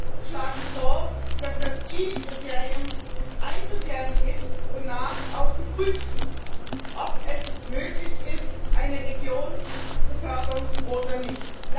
Wir schlagen vor, dass das Kriterium ein Kriterium ist, wonach auch geprüft wird, ob es möglich ist, eine Region zu fördern oder nicht.